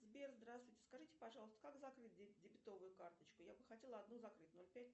сбер здравствуйте скажите пожалуйста как закрыть дебетовую карточку я бы хотела одну закрыть ноль пять